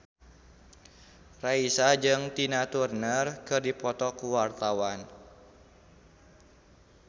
Raisa jeung Tina Turner keur dipoto ku wartawan